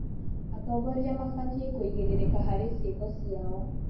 Atongoria mabatiĩ kũigĩrĩrĩka harĩ ciĩko ciao.